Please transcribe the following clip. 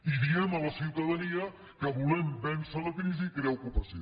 i diem a la ciutadania que volem vèncer la crisi i crear ocupació